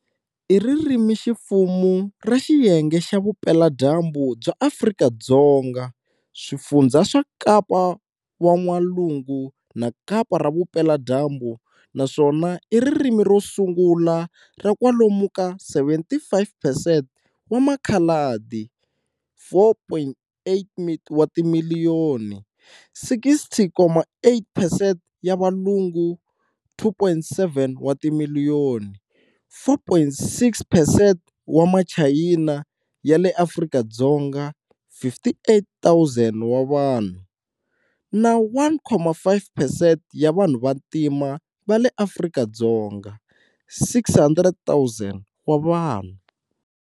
I ririmiximfumo ra xiyenge xa vupela-dyambu bya Afrika-Dzonga-Swifundhza swa Kapa wan'walungu na Kapa ra vupela-dyambu-Naswona iririmi rosungula ra kwalomu ka 75 percent wa makhaladi, 4.8 wa timiliyoni, 60.8 percent ya valungu, 2.7 wa timiliyoni, 4.6 percent wa machayina ya le Afrika-Dzonga, 58,000 wa vanhu, na 1.5 percent ya vanhu vantima vale Afrika-Dzonga, 600,000 wa vanhu.